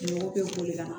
Mɔgɔw bɛ boli ka na